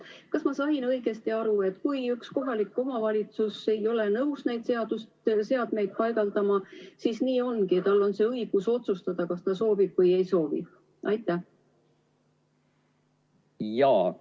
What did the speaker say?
Kas ma sain õigesti aru, et kui üks kohalik omavalitsus ei ole nõus neid seadmeid paigaldama, siis nii ongi ja tal on õigus otsustada, kas ta soovib või ei soovi?